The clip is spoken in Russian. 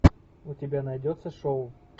у тебя найдется шоу